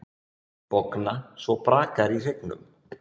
Bogna svo brakar í hryggnum.